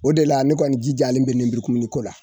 O de la ne kɔni jijalen bɛ lenburukumuniko la